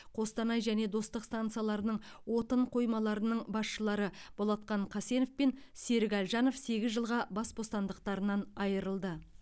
қостанай және достық станцияларының отын қоймаларының басшылары болатхан қасенов пен серік әлжанов сегіз жылға бас бостандықтарынан айырылды